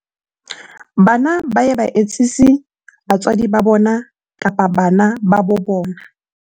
bana ba ye ba etsise batswadi ba bona kapa bana ba bo bona